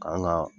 K'an ka